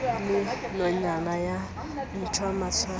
e le nonyana ya ntlwanatshwana